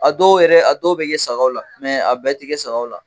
A dɔw yɛrɛ a dɔw bɛ kɛ sagaw la a bɛɛ tɛ kɛ sagaw la.